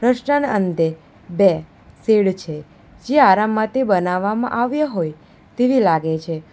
રસ્તાના અંતે બે શેડ છે. જે આરામ માટે બનાવવામાં આવ્યા હોય તેવી લાગે છે.